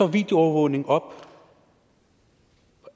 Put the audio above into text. videoovervågning op